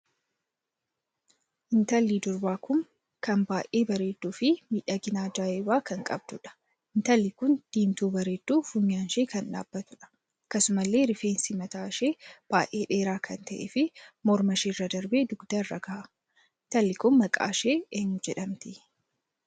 Intalli durbaa kun kan baay'ee bareedduu fi miidhagina ajaa'ibaa kan qabduudha. intalki kun diimtuu bareedduu funyaan ishee kan dhaabbattuudha. akkasumallee rifeensi mataa ishee baay'ee dheeraa kan tahee fi morma ishee irra darbee dugda irra gaha. intalli Kun maqaan ishee eenyuu jedhamti?